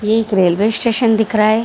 ये एक railway station दिख रहा है ।